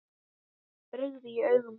brigði í augum þeirra.